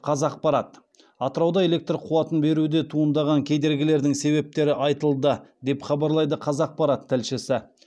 қазақпарат атырауда электр қуатын беруде туындаған кедергілердің себептері айтылды деп хабарлайды қазақпарат тілшісі